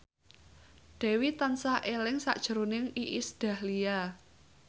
Dewi tansah eling sakjroning Iis Dahlia